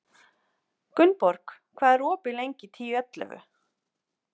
Gunnborg, hvað er opið lengi í Tíu ellefu?